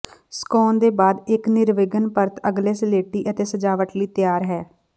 ਸੁਕਾਉਣ ਦੇ ਬਾਅਦ ਇਕ ਨਿਰਵਿਘਨ ਪਰਤ ਅਗਲੇ ਸਲੇਟੀ ਅਤੇ ਸਜਾਵਟ ਲਈ ਤਿਆਰ ਹੈ